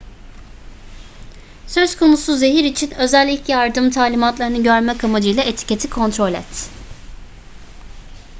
söz konusu zehir için özel ilk yardım talimatlarını görmek amacıyla etiketi kontrol et